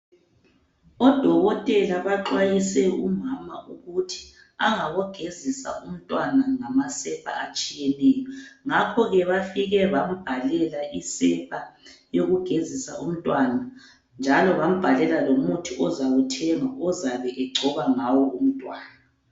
Odokotela baxwayise umama ukuthi engabo gezisa umntwana ngamasepa atshiyeneyo, ngakhoke bafike bambhalela isepa yokugezisa umntwana njalo bambhalela lomuthi ozawuthenga ozabe egcoba ngawo umntwana.